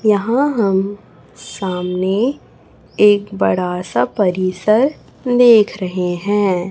यहां हम सामने एक बड़ा सा परिसर देख रहे हैं।